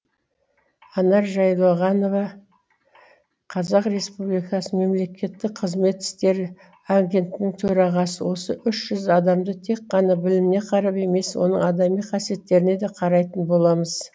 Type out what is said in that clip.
анар жайылғанова қазақ республикасы мемлекеттік қызмет істері агенттінің төрағасы осы үш жүз адамды тек қана біліміне қарап емес оның адами қасиеттеріне де қарайтын боламыз